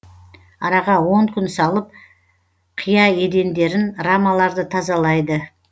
араға он күн салып қия едендерін рамаларды тазалайды